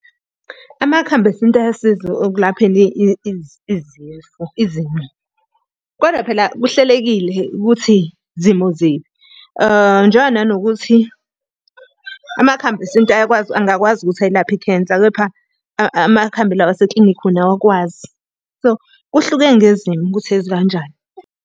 Amakhambi esintu ayasiza ekulapheni izifo izimo. Kodwa phela kuhlelekile ukuthi zimo ziphi. Njengoba nanokuthi amakhambi esintu ayakwazi angakwazi ukuthi ayilaphe I-cancer, kepha amakhambi lawa aseklinikhi wona awakwazi. So kuhluke ngezimo ukuthi ezikanjani.